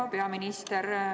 Hea peaminister!